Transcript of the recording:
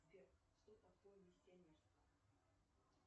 сбер что такое миссионерство